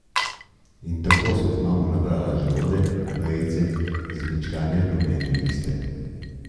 In tako sva z mamo nabrali želode, vejice in zmečkane rumene liste.